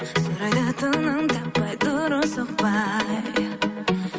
сұрайды тыным таппай дұрыс соқпай